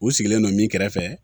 U sigilen don min kɛrɛfɛ